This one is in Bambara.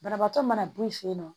Banabaatɔ mana b'o fɛ yen nɔ